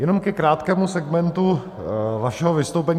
Jenom ke krátkému segmentu vašeho vystoupení.